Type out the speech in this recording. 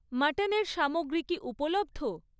মাটনের সামগ্রী কি উপলব্ধ?